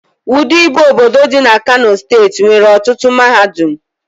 Wudil bụ obodo dị na Kano steeti nwere ọtụtụ mahadum